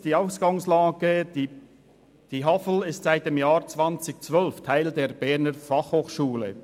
Die Ausgangslage: Die HAFL ist seit dem Jahr 2012 Teil der BFH.